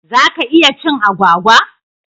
Za ka iya cin agwagwa?